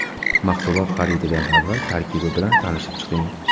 Mahsulot xarididan avval tarkibi bilan tanishib chiqing.